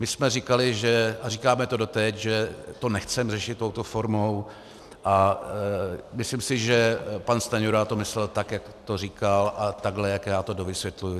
My jsme říkali a říkáme to doteď, že to nechceme řešit touto formou, a myslím si, že pan Stanjura to myslel tak, jak to říkal, a takhle, jak já to dovysvětluji.